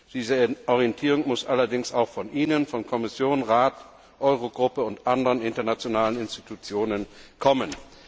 Diese Orientierung muss allerdings auch von Ihnen, von Kommission, Rat, Eurogruppe und anderen internationalen Institutionen, kommen.